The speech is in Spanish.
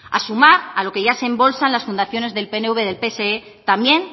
a sumar lo que ya se embolsan las fundaciones del pnv del pse también